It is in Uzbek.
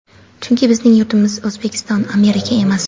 Chunki bizning yurtimiz O‘zbekiston, Amerika emas.